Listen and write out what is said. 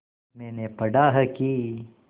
मैंने पढ़ा है कि